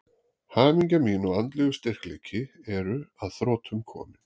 Hamingja mín og andlegur styrkleiki er að þrotum kominn.